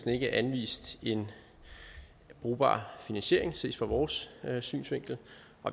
ikke anvist en brugbar finansiering set fra vores synsvinkel